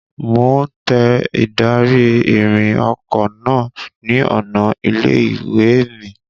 Mo ń tẹ ìdarí-ìrìn ọkọ náà ni ọ̀nà ilé-ìwé mi.